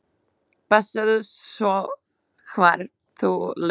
Passaðu svo hvar þú lemur.